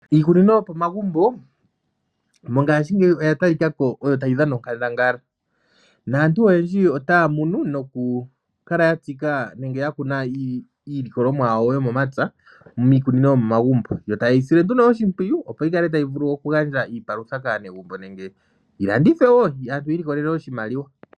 Iikunino yopo magumbo mongaashingeyi oyo ya tali ka ko tayi dhana onkandangala naantu oyendji otaya munu nokukala ya tsika nenge ya kuna iilikolomwa yawo yomomapya miikunino yomomagumbo yo taye yi sile nduno oshimpwiyu opo yi kale tayi vulu oku gandja iipalutha kaanegumbo nenge yilandithwe wo aantu yi ili kolele oshimaliwa.